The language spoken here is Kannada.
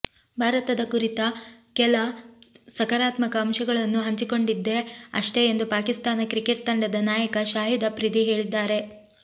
ಭಾರತದ ಕುರಿತ ಕೆಲ ಸಕಾರಾತ್ಮಕ ಅಂಶಗಳನ್ನು ಹಂಚಿಕೊಂಡಿದ್ದೆ ಅಷ್ಟೇ ಎಂದು ಪಾಕಿಸ್ತಾನ ಕ್ರಿಕೆಟ್ ತಂಡದ ನಾಯಕ ಶಾಹಿದ್ ಅಫ್ರಿದಿ ಹೇಳಿದ್ದಾರೆ